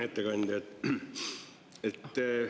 Ettekandja!